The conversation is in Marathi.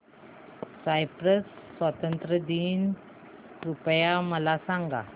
सायप्रस स्वातंत्र्य दिन कृपया मला सांगा